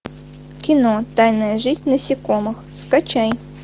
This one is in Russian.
кино тайная жизнь насекомых скачай